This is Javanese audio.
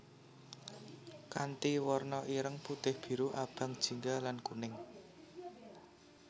Kanthi warna ireng putih biru abang jingga lan kuning